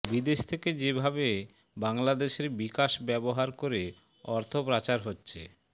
বিদেশ থেকে যেভাবে বাংলাদেশের বিকাশ ব্যবহার করে অর্থ পাচার হচ্ছে